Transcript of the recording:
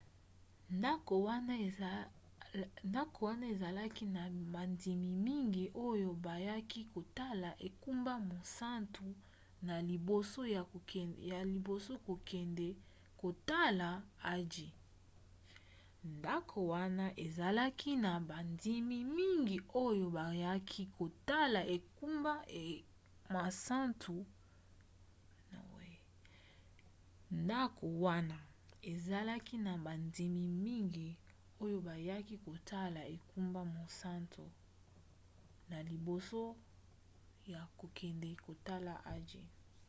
ndako wana ezalaki na bandimi mingi oyo bayaki kotala engumba mosantu na liboso ya kokende kotala hajj